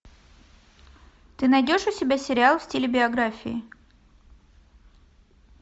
ты найдешь у себя сериал в стиле биографии